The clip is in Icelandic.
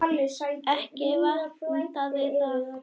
Ekki vantaði það.